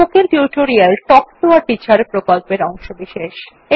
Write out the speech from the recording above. spoken tutorial talk to a teacher প্রকল্পের অংশবিশেষ